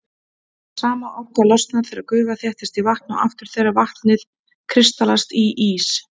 Sama orka losnar þegar gufa þéttist í vatn og aftur þegar vatnið kristallast í ís.